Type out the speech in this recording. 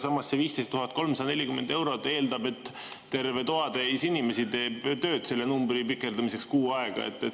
Samas, see 15 340 eurot eeldab, et terve toatäis inimesi teeb tööd selle numbri pikendamiseks kuu aega.